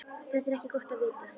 Það er ekki gott að vita.